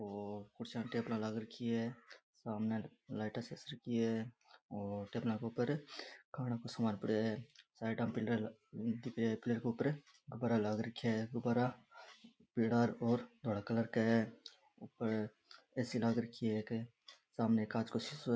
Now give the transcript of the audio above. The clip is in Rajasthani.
और कुर्सियां टेबला लाग रखी है सामने लाइटा चस रखी है और टेबला के ऊपर खाने का सामान पड़ायो है साइडा में पिलर दिख रेहा है पिलर के ऊपर गुब्बारा लाग रखा है गुब्बारा पीला और धोला कलर का है ऊपर ए.सी. लगा रखी है एक सामने एक कांच को शीशो है।